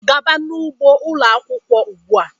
Gaaba n'ugbo ụlọ akwụkwọ ugbu a!